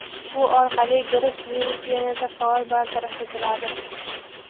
Bu orqali gripp virusi yanada faol bartaraf etiladi.